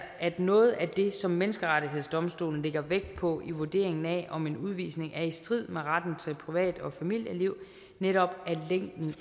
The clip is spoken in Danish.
at noget af det som menneskerettighedsdomstolen lægger vægt på i vurderingen af om en udvisning er i strid med retten til privat og familieliv netop